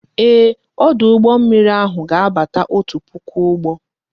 Ee, ọdụ ụgbọ mmiri ahụ ga abata otu puku ụgbọ